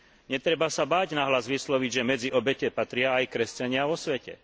Netreba sa báť nahlas vysloviť, že medzi obete patria aj kresťania vo svete.